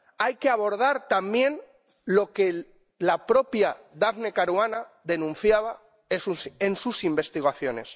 Hay que abordar también lo que la propia Daphne Caruana denunciaba en sus investigaciones.